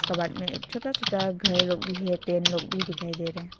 scabbard में एक छोता छोता घर भी है तीन लोग भी दिखाई दे रहे --